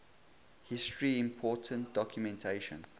history important documentation